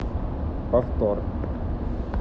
повтор